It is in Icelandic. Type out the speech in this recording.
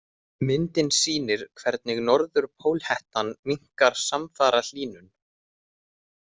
Myndin sýnir hvernig norðurpólhettan minnkar samfara hlýnun.